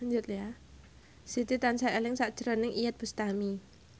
Siti tansah eling sakjroning Iyeth Bustami